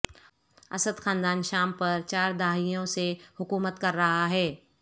اسد خاندان شام پر چار دہائیوں سے حکومت کر رہا ہے